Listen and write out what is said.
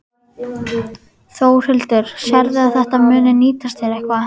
Þórhildur: Sérðu að þetta muni nýtast þér eitthvað?